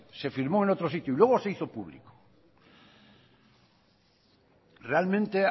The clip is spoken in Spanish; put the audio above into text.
se firmó en otro sitio y luego se hizo público realmente